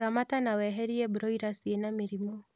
Ramata na weherie broila ciĩna mĩrimu